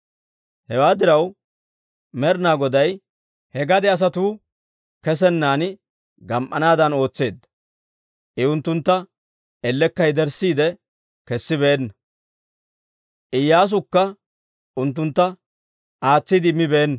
Hewaa diraw, Med'inaa Goday he gade asatuu kesenan gam"anaadan ootseedda. I unttuntta ellekka yederssiide kessibeenna; Iyyaasuwukka unttuntta aatsiide immibeenna.